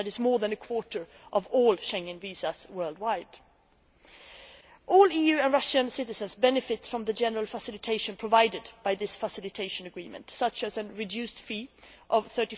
That is more than a quarter of all Schengen visas issued worldwide. All EU and Russian citizens benefit from the general facilitation provided by this facilitation agreement, such as a reduced fee of